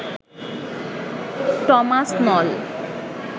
Thomas Nala